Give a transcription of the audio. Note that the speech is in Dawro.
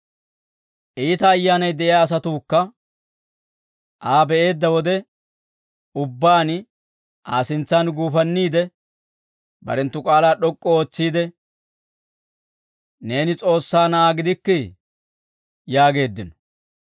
Iita ayyaanay de'iyaa asatuukka Aa be'eedda wode ubbaan Aa sintsan guufanniide, barenttu k'aalaa d'ok'k'u ootsiide, «Neeni S'oossaa Na'aa gidikkii!» yaageeddino.